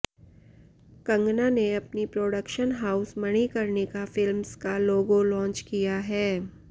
कंगना ने अपनी production house Manikarnika films का लोगो लॉन्च किया है